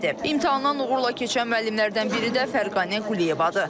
İmtahandan uğurla keçən müəllimlərdən biri də Fərqanə Quliyevadır.